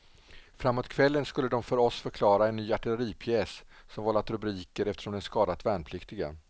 Framåt kvällen skulle de för oss förklara en ny artilleripjäs som vållat rubriker eftersom den skadat värnpliktiga.